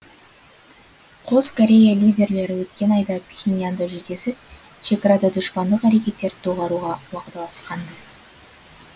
қос корея лидерлері өткен айда пхеньянда жүздесіп шекарада дұшпандық әрекеттерді доғаруға уағдаласқанды